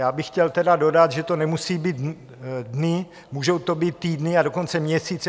Já bych chtěl tedy dodat, že to nemusí být dny, můžou to být týdny, a dokonce měsíce.